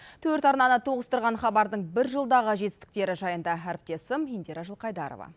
төрт арнаны тоғыстырған хабардың бір жылдағы жетістіктері жайында әріптесім индира жылқайдарова